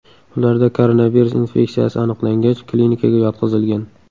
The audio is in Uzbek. Ularda koronavirus infeksiyasi aniqlangach, klinikaga yotqizilgan.